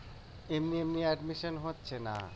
এমনি এমনি admission হচ্ছে না